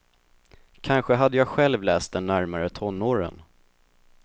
Kanske hade jag själv läst den närmare tonåren.